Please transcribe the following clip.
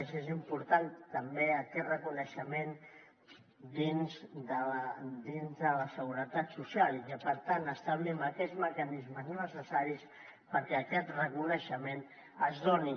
i és important també aquest reconeixement dins de la seguretat social i que per tant establim aquests mecanismes necessaris perquè aquest reconeixement es doni